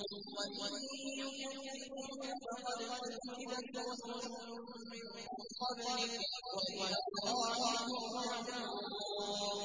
وَإِن يُكَذِّبُوكَ فَقَدْ كُذِّبَتْ رُسُلٌ مِّن قَبْلِكَ ۚ وَإِلَى اللَّهِ تُرْجَعُ الْأُمُورُ